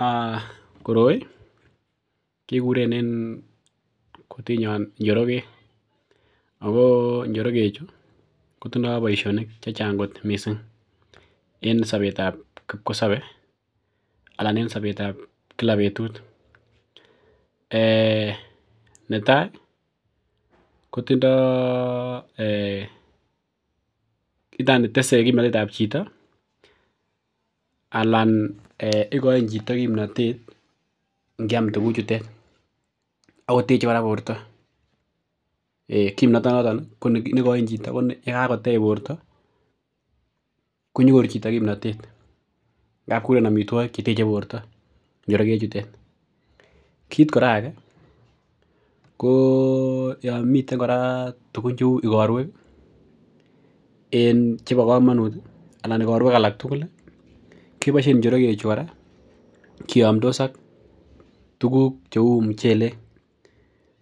um koroi kekuren en kutinyon njorogek ako njorogek chu kotindoo boisionik chechang kot missing en sobetab kipkosobe anan en sobetab kila betut um netai ko tindoo um tese kimnotet ab chito anan igoin chito kimnotet ngiam tuguk chutet akoteche kora borto kimnotonoton ih nekoin chito koni yekakotech borto konyoru chito kimnotet ngap kikuren amitwogik cheteche borto njorogek chutet. Kit kora age ko yan miten kora tugun cheu igorwek ih en chebo komonut ih anan igorwek alak tugul ih keboisien njorogek chu kora kiyomdos ak tuguk cheu muchelek.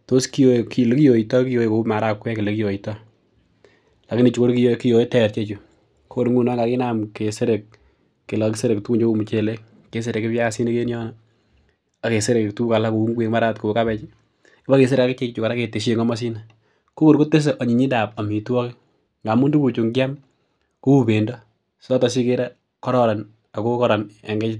Tos kiyoe elekiyoitoo kiyoe kou marakwek elekiyoitoo lakini chu kiyoe ter ichechu ko kor ngunon kakinam keserek kele kokiseker tuguk cheu muchelek keserekyi buyasinik en yono ak keserekyi tuguk alak cheu ngwek mara ot kou kabej ih kibakeserek ak ichek chu aketessyi en komosino ko kor kotese anyinyindap amitwogik ngamun tuguk chu ngiam kouu bendo noton sikere koron ako koron en